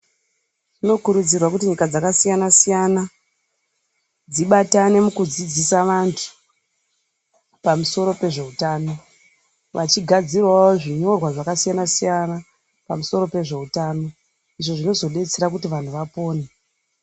Zvinokurudzirwa kuti nyika dzakasiyana-siyana dzibatane mukudzidzisa vantu pamusoro pezveutano vachigadzidawo zvinyorwa zvakasiyana -siyana pamusoro pezveutano izvo zvinozodetsera kuti vanhu vapone.